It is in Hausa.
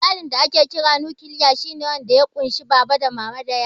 Iyalin da ake kira "nukiliya" shi ne wanda ya ƙunshi Baba, Mama da yara.